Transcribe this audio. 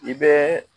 I bɛ